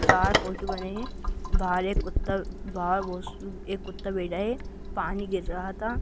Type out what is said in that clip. चार फोटो बने है बाहर एक कुत्ता बाहर एक कुता बैठा है पानी गिर रहा था।